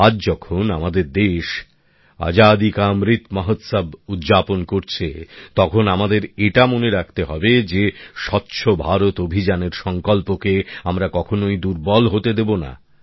আজ যখন আমাদের দেশ আজাদী কা অমৃত মহোৎসব উদযাপন করছে তখন আমাদের এটা মনে রাখতে হবে যে স্বচ্ছ ভারত অভিযানের সংকল্পকে আমরা কখনোই দুর্বল হতে দেবো না